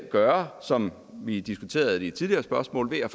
gøre som vi diskuterede det i tidligere spørgsmål ved